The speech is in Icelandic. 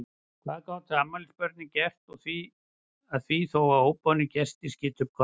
Hvað gátu afmælisbörnin gert að því þó að óboðnir gestir skytu upp kollinum?